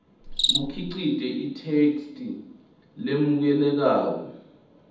bukhicite itheksthi lemukelekako